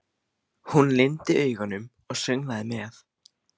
Hún lygndi augunum og sönglaði með.